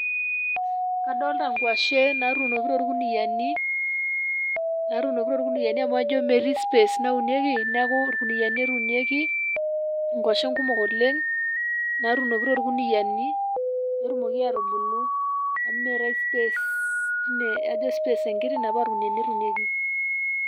kadolta inkwashen natunoki tolkuniani , natunoki tolkuniani amu, ajo metii space naunieki, niaku ilkuniani etunieki inkwashen kumok oleng, natunoki tolkuniani petumoki atubulu, amu meetae space tine ajo space enkiti niaku ina paa ilkuniani etunieki.